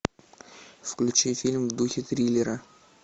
включи фильм в духе триллера